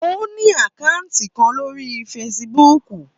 Ó ní àkátì kan lórí Facebook.